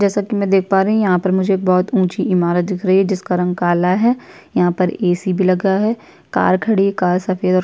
जैसा कि मैं देख पा रहीं हूँ यहाँ पर मुझे एक बहुत ऊंची इमारत दिख रही है जिसका रंग काला है यहाँ पर एसी भी लगा है कार खड़ी है कार सफेद और --